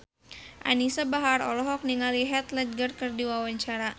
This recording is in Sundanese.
Anisa Bahar olohok ningali Heath Ledger keur diwawancara